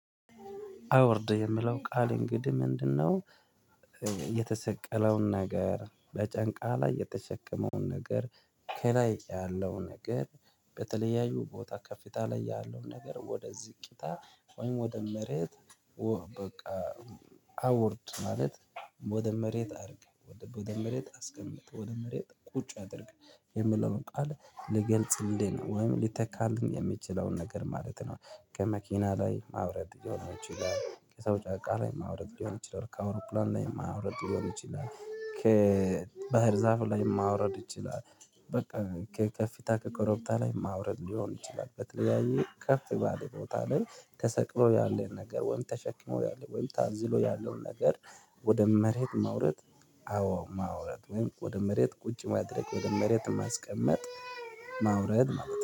አዉርድ የምለው ቃል እንግዲህ ምንድነው? የተሰቀለውን ነገር በጫንቃ ላይ የተሸከመውን ነገር ከላይ ያለው ነገር በተለያዩ ቦታ ከፍታ ላይ ያለው ነገር ወደዚህ ቂጣ ወይም ወደ መሬት በቃ አዉርድ ማለት ወደ መሬት አርግ ወደ መሬት አስቀምጥ ወደ መሬት ቁጭ አድርግ የሚለውን ቃል ልገልጽልኝ ወይም ሊተካልኝ የሚችለውን ነገር ማለት ነው። ከመኪና ላይ ማውረድ ሊሆን ይችላል ከሰው ጫንቃ ላይ ማውረድ ሊሆን ይችላል ከአውሮፕላን ላይ ማውረድ ሊሆን ይችላል ከባህር ዛፉ ላይ ማውረድ ይችላል። በቃ ከከፍታ ከኮረብታ ላይ ማውረድ ሊሆን ይችላል በተለያየ ከፍ ባለ ቦታ ላይ ተሰቅሎ ያለን ነገር ወይም ተሸክሞ ያለን ወይም ታዝሎ ያለን ነገር ወደ መሬት ማውረድ። አዎ ማውረድ ወይም ወደ መሬት ቁጭ ማድረግ ወደ መሬት ማስቀመጥ። ማውረድ